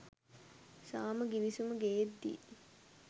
සාම ගිවිසුමක් ගේද්දි